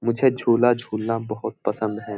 मुझे झूला झूलना बहुत पसंद है।